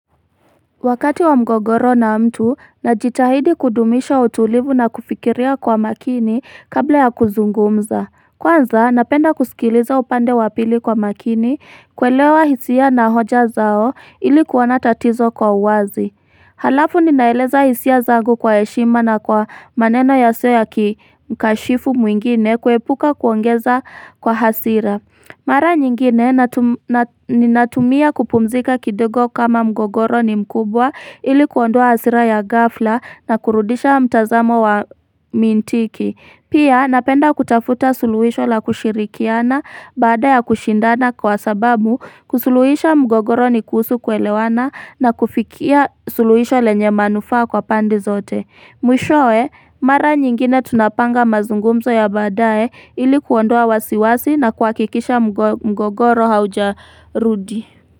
Wakati wa mgogoro na mtu na jitahidi kudumisha utulivu na kufikiria kwa makini kabla ya kuzungumza Kwanza napenda kusikiliza upande wapili kwa makini kwelewa hisia na hoja zao ilikuona tatizo kwa uwazi Halafu ninaeleza hisia zangu kwa heshima na kwa maneno ya siyo ya kikashifu mwingine kuepuka kuongeza kwa hasira Mara nyingine ni natumia kupumzika kidogo kama mgogoro ni mkubwa ili kuondoa hasira ya gafla na kurudisha mtazamo wa mintiki. Pia napenda kutafuta suluhisho la kushirikiana bada ya kushindana kwa sababu kusuluhisha mgogoro ni kuhusu kwelewana na kufikia suluhisho lenye manufaa kwa pande zote. Mwishowe, mara nyingine tunapanga mazungumzo ya badae ilikuondoa wasiwasi na kuakikisha mgogoro haujarudi.